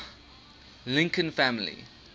lincoln family